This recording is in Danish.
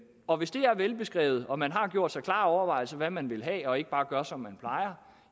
og hvis det er velbeskrevet og man har gjort sig klare overvejelser over hvad man vil have og ikke bare gør som man plejer